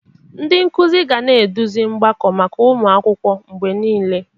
Ndị nkuzi ga na-eduzi mgbakọ maka ụmụ akwụkwọ mgbe niile.